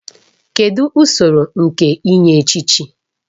Kedụ usoro nke inye echichi?